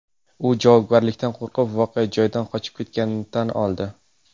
U javobgarlikdan qo‘rqib, voqea joyidan qochib ketganini tan oldi.